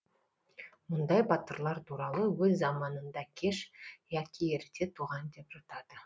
мұндай батырлар туралы өз заманында кеш яки ерте туған деп жатады